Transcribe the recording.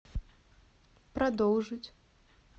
продолжить